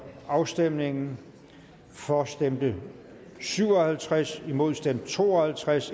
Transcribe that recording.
afstemningen for stemte syv og halvtreds imod stemte to og halvtreds